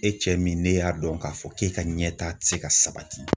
E cɛ min ne y'a dɔn k'a fɔ k'e ka ɲɛta ti se ka sabati.